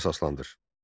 Fikrinə əsaslandır.